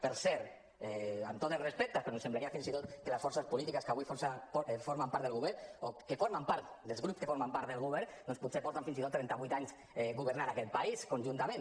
per cert amb tots els respectes però em semblaria fins i tot que les forces polítiques que avui formen part del govern o que formen part dels grups que formen part del govern doncs potser porten fins i tot trenta vuit anys governant aquest país conjuntament